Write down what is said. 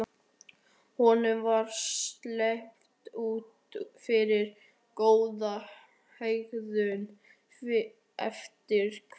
Honum var sleppt út fyrir góða hegðun eftir hvað?